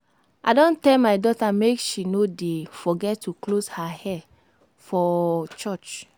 I don tell my daughter make she no dey forget to close her hair for church